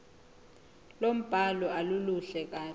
lombhalo aluluhle kahle